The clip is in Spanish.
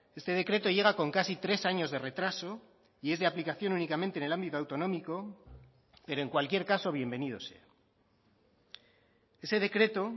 este decreto llega con casi tres años de retraso y es de aplicación únicamente en el ámbito autonómico pero en cualquier caso bienvenido sea ese decreto